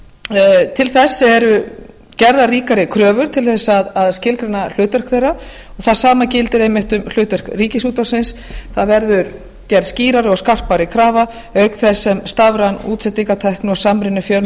það eru gerðar til ríkisútvarpsins ríkari kröfur til að skilgreina hlutverk þeirra það sama gildir einmitt um hlutverk ríkisútvarpsins það verður gerð skýrari og skarpari krafa auk þess sem stafræn útsendingartækni og samruni